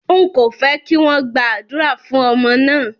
Ń kò fẹ́ kí wọn gba àdúrà fún ọmọ náà